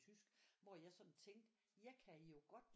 Tysk hvor jeg sådan tænkte jeg kan jo godt